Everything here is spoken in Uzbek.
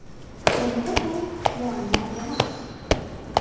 Endi bu muammo emas!